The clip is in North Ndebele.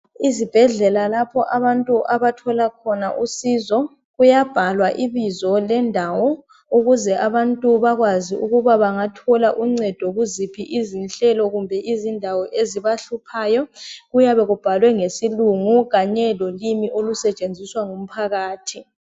ezibhedlela lapha abantu abathola khona usizo kuyabhalwa ibizo lendawo ukuze abantu babekwazi ukuba bangathola uncedo kuziphi izihlelo kumbe izindawo ezibahluphayo kuyabe kubhalwe ngesilungu kanye lolimi olusebenziswa ngumphakathi